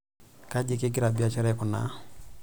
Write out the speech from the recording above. Kaji kingira biashara aikunaa tesokoni?